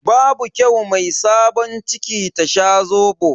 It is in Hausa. Babu kyau mai sabon ciki ta sha Zobo.